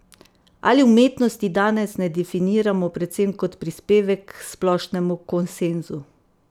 Ali umetnosti danes ne definiramo predvsem kot prispevek k splošnemu konsenzu?